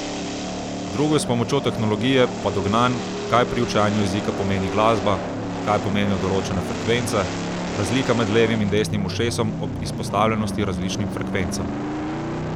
Drugo je s pomočjo tehnologije, pa dognanj, kaj pri učenju jezika pomeni glasba, kaj pomenijo določene frekvence, razlika med levim in desnim ušesom ob izpostavljenosti različnim frekvencam.